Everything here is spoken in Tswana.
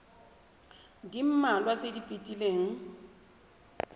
le mmalwa tse di fetileng